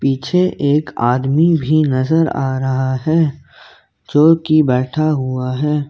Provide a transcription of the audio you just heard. पीछे एक आदमी भी नजर आ रहा है जो की बैठा हुआ है।